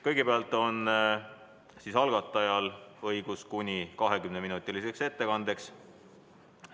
Kõigepealt on esitajal kuni 20 minutit ettekandeks.